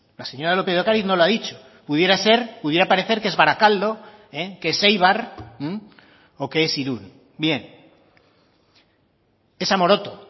la señora lópez de ocariz no lo ha dicho pudiera ser pudiera parecer que es barakaldo que es eibar o que es irún bien es amoroto